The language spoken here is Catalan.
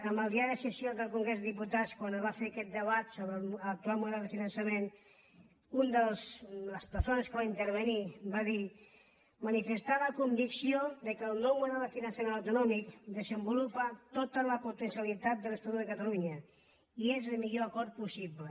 amb el diari de sessions del congrés dels diputats quan es va fer aquest debat sobre l’ac·tual model de finançament una de les persones que hi va intervenir va dir manifestar la convicció que el nou model de finançament autonòmic desenvolupa to·ta la potencialitat de l’estatut de catalunya i és el mi·llor acord possible